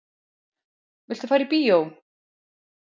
Viltu fara í bíó?